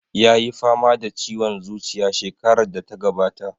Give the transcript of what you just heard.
Ya yi fama da ciwon zuciya shekarar da ta gabata.